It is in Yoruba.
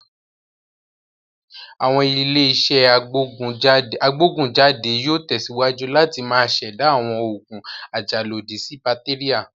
Àwọn ilé-iṣẹ́ agbógùn jáde yóò tẹ̀síwájú láti máa ṣẹ̀dá àwọn òògùn ajàlòdí sí bàtéríà.